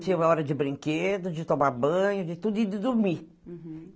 Tinha hora de brinquedo, de tomar banho, de tudo e de dormir. Uhum